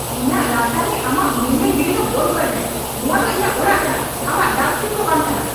ᱤᱧᱟᱹᱜ ᱨᱟᱪᱟ ᱨᱮ ᱟᱢᱟᱜ ᱢᱟᱹᱭᱞᱟᱹ ᱜᱤᱰᱤ ᱫᱚ ᱵᱚᱱᱫᱷᱚᱭ ᱢᱮ ᱾ ᱱᱚᱶᱟ ᱫᱚ ᱤᱧᱟᱹᱜ ᱚᱲᱟᱜ ᱠᱟᱱᱟ, ᱟᱢᱟᱜ ᱰᱟᱥᱴᱵᱤᱱ ᱫᱚ ᱵᱟᱝ ᱠᱟᱱᱟ !